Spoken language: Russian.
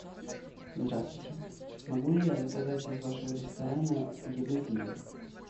здравствуйте могу ли я заказать из вашего ресторана еду в номер